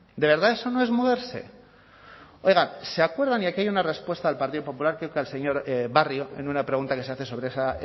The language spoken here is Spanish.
de verdad eso no es moverse oiga se acuerdan y aquí hay una respuesta al partido popular creo que al señor barrio en una pregunta que se hace sobre esa